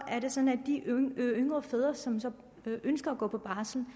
er det sådan at de yngre fædre som som ønsker at gå på barsel